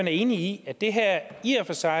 er enig i at det her i og for sig